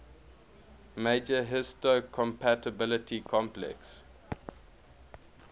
major histocompatibility complex